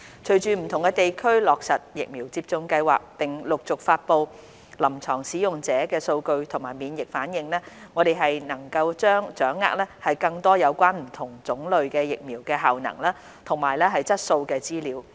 隨着不同地區落實疫苗接種計劃，並陸續發布臨床使用者數據及免疫反應，我們將能掌握更多有關不同種類疫苗的效能及質素資料。